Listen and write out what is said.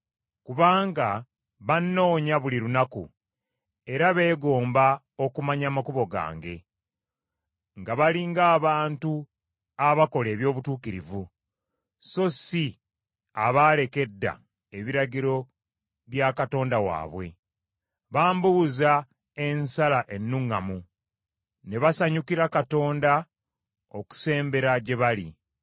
Kubanga bannoonya buli lunaku era beegomba okumanya amakubo gange, nga bali ng’abantu abakola eby’obutuukirivu so si abaaleka edda ebiragiro bya Katonda waabwe. Bambuuza ensala ennuŋŋamu, ne basanyukira Katonda okusembera gye bali.